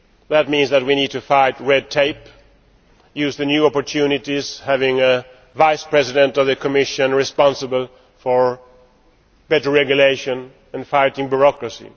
That means that we need to fight red tape, to use the new opportunities of having a Vice President of the Commission responsible for better regulation and fighting bureaucracy.